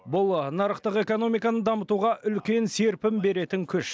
бұл нарықтық экономиканы дамытуға үлкен серпін беретін күш